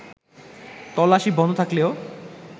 তল্লাশি বন্ধ থাকলেও